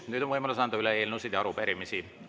Nüüd on võimalus anda üle eelnõusid ja arupärimisi.